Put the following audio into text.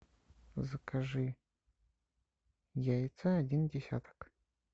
закажи яйца один десяток